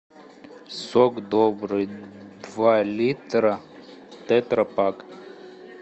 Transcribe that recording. сок добрый два литра тетрапак